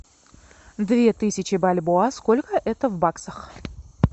две тысячи бальбоа сколько это в баксах